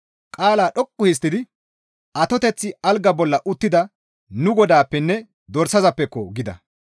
Qaala dhoqqu histtidi, «Atoteththi algaa bolla uttida nu Godaappenne dorsazappeko!» gida.